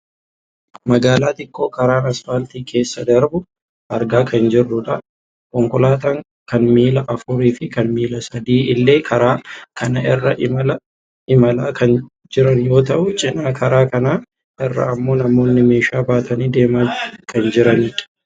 magaalaa xiqqoo karaan asfaaltii keessa darbu argaa kan jirrudha. konkolaataan kan miila afuurii fi kan miila sadii illee karaa kana irra imalaa kan jiran yoo ta'u cinaa karaa kanaa irra ammoo namoonni meeshaa baatanii deemaa kan jiranidha.